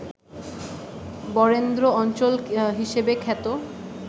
বরেন্দ্র অঞ্চল হিসেবে খ্যাত